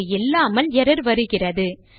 இது இல்லாமல் எர்ரர் வருகிறது